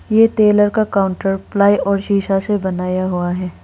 ये टेलर का counter ply और शीशा से बनाया हुआ है।